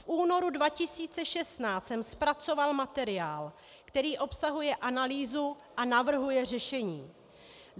V únoru 2016 jsem zpracoval materiál, který obsahuje analýzu a navrhuje řešení.